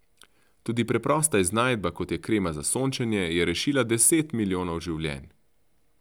Tudi preprosta iznajdba, kot je krema za sončenje, je rešila deset milijonov življenj.